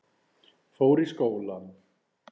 Fór í skólann.